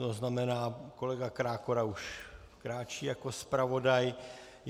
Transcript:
To znamená, kolega Krákora už kráčí jako zpravodaj.